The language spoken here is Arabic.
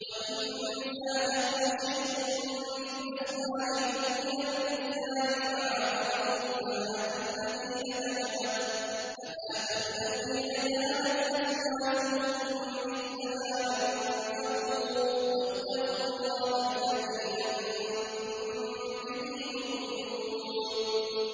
وَإِن فَاتَكُمْ شَيْءٌ مِّنْ أَزْوَاجِكُمْ إِلَى الْكُفَّارِ فَعَاقَبْتُمْ فَآتُوا الَّذِينَ ذَهَبَتْ أَزْوَاجُهُم مِّثْلَ مَا أَنفَقُوا ۚ وَاتَّقُوا اللَّهَ الَّذِي أَنتُم بِهِ مُؤْمِنُونَ